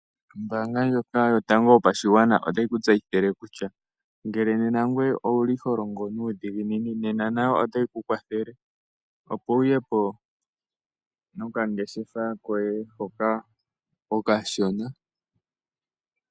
Ombanga ndjoka yotango yopashigwana otayi ku tseyithile kutya nena ngoye ngele owuli ho longo nuudhiginini nena nayo otayi ku kwathele opo wu yepo noka ngeshefa koye hoka okashona.